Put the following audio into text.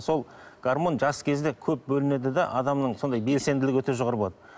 сол гармон жас кезде көп бөлінеді де адамның сондай белсенділігі өте жоғары болады